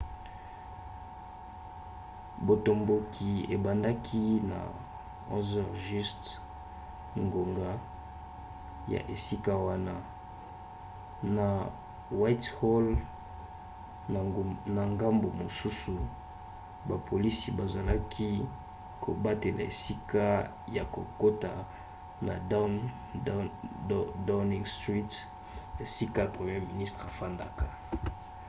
botomboki ebandaki na 11h00 ngonga ya esika wana utc+1 na whitehall na ngambu mosusu bapolisi bazalaki kobatela esika ya kokota na downing street esika premier ministre afandaka